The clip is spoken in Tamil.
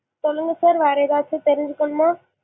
சொல்லுங்க sir வேற ஏதாச்சும் தெரிஞ்சுக்கனுமா?